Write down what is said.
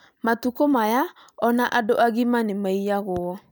Matukũ maya o na andũ agima nĩ maiyagwo